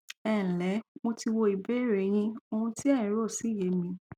ẹǹlẹ mo ti wo ìbéèrè e yín ohun tí ẹ ń rò sì yé mi